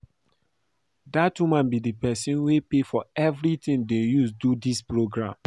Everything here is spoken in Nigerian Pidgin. Dat woman be the person wey pay for everything dey use do dis programme